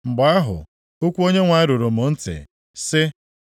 Mgbe ahụ, okwu Onyenwe anyị ruru m ntị, sị,